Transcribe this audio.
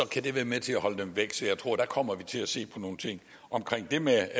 kan det være med til at holde dem væk så jeg tror der kommer til at se på nogle ting om det med